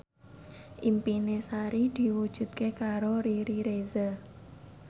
impine Sari diwujudke karo Riri Reza